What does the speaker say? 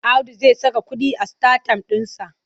Audu zai saka kuɗi a sitatayim ɗinsa.